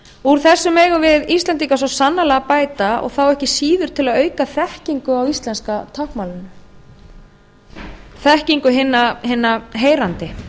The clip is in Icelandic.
heyrnarlausra úr þessu megum við íslendingar svo sannarlega bæta og þá ekki síður til að auka þekkingu á íslenska táknmálinu þekkingu hinna heyrandi